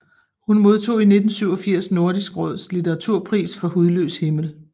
Hun modtog i 1987 Nordisk Råds Litteraturpris for Hudløs himmel